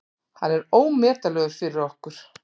Hann er ómetanlegur fyrir okkur.